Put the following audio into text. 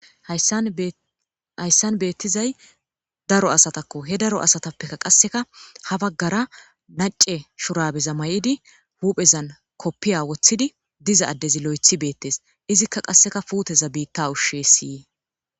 hayssan beettizay daro asatakko he daro asatappekka qasseka ha baggara nace shurabeza may7idi huuphezan koppiya woththidi diza addezi lo7ethi beettes izikka qasseka puuteza biitta ushshe siyi